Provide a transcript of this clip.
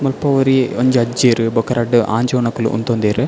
ಮುಲ್ಪ ಒರಿಯೆ ಒಂಜಿ ಅಜ್ಜೆರ್ ಬೊಕ ರಡ್ದ್ ಆಂಜೊವುನಕುಲು ಉಂತೊಂದೆರ್.